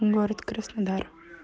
город краснодар